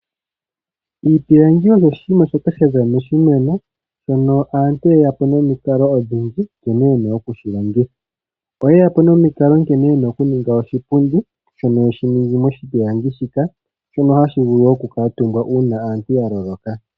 Iipilangi osho oshinima shoka shaza moshimeno, shono aantu yeyapo momikalo odhindji nkene yena okushilongitha . Oye yapo nomikalo nkene yena okuninga oshipundi shono yeshi ningi moshipilangi, shono hashi vulu okukuutumbwa uuna aantu yaloloka.